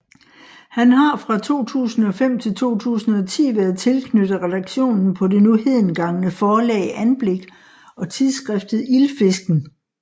Han har fra 2005 til 2010 været tilknyttet redaktionen på det nu hedengangne forlag Anblik og tidsskriftet Ildfisken